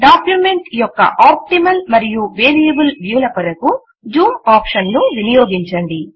document యొక్క optimal మరియు variable view ల కొరకు కోసం జూమ్ ఆప్షన్ ను వినియోగించండి